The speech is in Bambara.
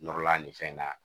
Nɔrɔla ni fɛn na